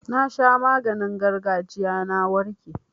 Na sha maganin gargajiya na warke.